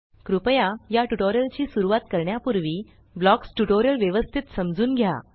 कृपया या ट्यूटोरियल ची सुरवात करण्यापूर्वी ब्लॉक्स ट्यूटोरियल व्यवस्तीत समजून घ्या